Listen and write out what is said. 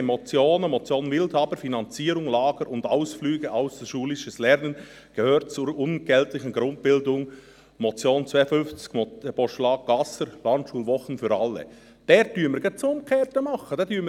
Wir haben Motionen, die Motion Wildhaber: «Finanzierung Lager und Ausflüge – Ausserschulisches Lernen gehört zur unentgeltlichen Grundbildung» (), das Postulat Gasser: «Landschulwochen für alle» (), bei denen wir genau das Gegenteil tun.